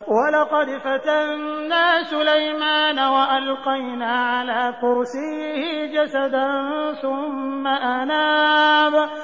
وَلَقَدْ فَتَنَّا سُلَيْمَانَ وَأَلْقَيْنَا عَلَىٰ كُرْسِيِّهِ جَسَدًا ثُمَّ أَنَابَ